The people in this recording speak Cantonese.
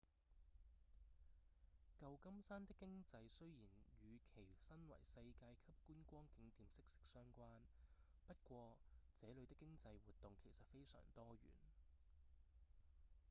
舊金山的經濟雖然與其身為世界級觀光景點息息相關不過這裡的經濟活動其實非常多元